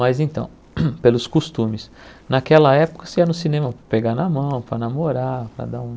Mas então, pelos costumes, naquela época você ia no cinema para pegar na mão, para namorar, para dar um...